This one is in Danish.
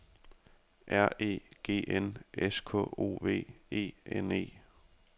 R E G N S K O V E N E